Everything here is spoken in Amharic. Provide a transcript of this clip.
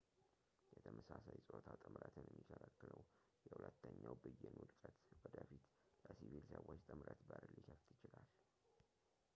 የተመሳሳይ ፆታ ጥምረትን የሚከለክለው የሁለተኛው ብይን ውድቀት ወደፊት ለሲቪል ሰዎች ጥምረት በር ሊከፍት ይችላል